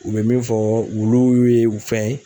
U bɛ min fɔ wulu ye u fɛn